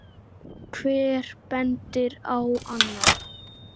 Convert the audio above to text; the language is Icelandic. Hver bendir á annan.